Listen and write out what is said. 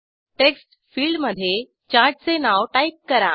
text फिल्डमधे चार्टचे नाव टाईप करा